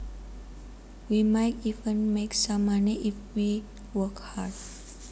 We might even make some money if we work hard